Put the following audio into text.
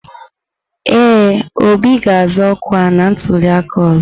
Ee, Obi ga-azọ ọkwa na ntuliaka ọzọ.